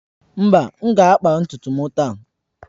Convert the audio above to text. Mba, m ga-akpa ntutu m taa.